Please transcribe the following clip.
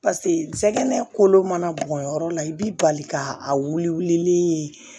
pase jɛgɛ kolo mana bɔn yɔrɔ la i bi bali ka a wulilen